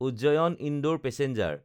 Ujjain-Indore passenger